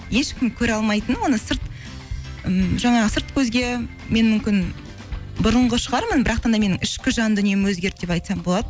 ешкім көре алмайтын оны сырт ммм жаңағы сырт көзге мен мүмкін бұрынғы шығармын да менің ішкі жан дүнием өзгерді деп айтсам болады